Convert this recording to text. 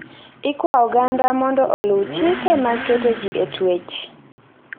Ikwa oganda mondo oluw chike mag keto ji e twech.